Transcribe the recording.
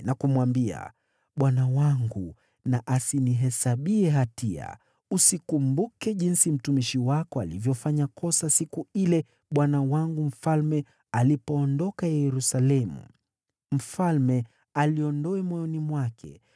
na kumwambia, “Bwana wangu na asinihesabie hatia. Usikumbuke jinsi mtumishi wako alivyofanya kosa siku ile bwana wangu mfalme alipoondoka Yerusalemu. Mfalme aliondoe moyoni mwake.